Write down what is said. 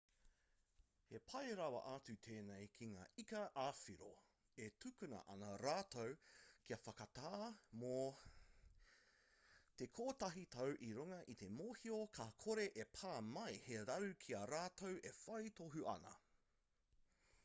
he pai rawa atu tēnei ki ngā ika ā-whiro e tukuna ana rātou kia whakatā mō te kotahi tau i runga i te mōhio ka kore e pā mai he raru ki ā rātou e whai tohu ana